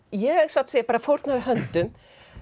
ég satt að segja bara fórnaði höndum